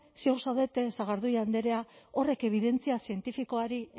ziur zaudete sagardui andrea horrek ebidentzia zientifikoari